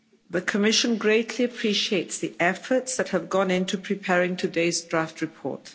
The Commission greatly appreciates the efforts that have gone into preparing today's draft report.